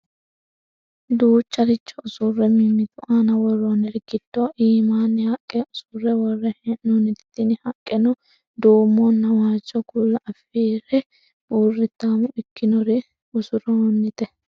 duucharicho usurre mimmitu aana worroonniri giddo iimaanni haqqe usurre worre hee'noonniti tini haqqeno duumonna waajjo kuula afire burritaamo ikkinorinni usurroonnite